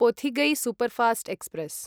Pothigai superfast express